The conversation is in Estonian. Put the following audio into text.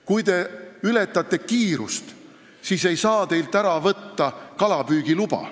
Kui te ületate kiirust, siis ei saa teilt ära võtta kalapüügiluba.